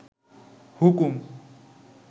হুকুম